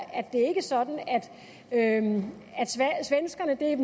sådan at svenskerne er